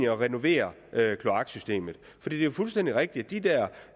at renovere kloaksystemet det er fuldstændig rigtigt